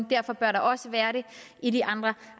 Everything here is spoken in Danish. derfor bør der også være det i de andre